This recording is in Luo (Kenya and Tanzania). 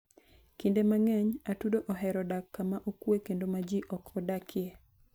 Kinde mang'eny, atudo ohero dak kama okuwe kendo ma ji ok odakie.